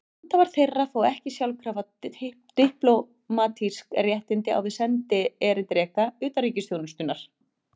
Handhafar þeirra fá ekki sjálfkrafa diplómatísk réttindi á við sendierindreka utanríkisþjónustunnar.